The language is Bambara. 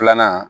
Filanan